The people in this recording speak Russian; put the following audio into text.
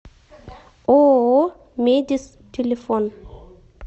ооо медис телефон